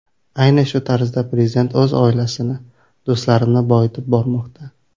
Ayni shu tarzda prezident o‘z oilasini, do‘stlarini boyitib bormoqda.